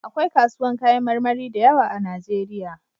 Akwai kasuwan kayan marmari da yawa a najeriya